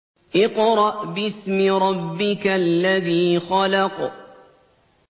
اقْرَأْ بِاسْمِ رَبِّكَ الَّذِي خَلَقَ